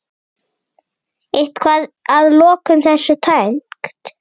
Eitthvað að lokum þessu tengt?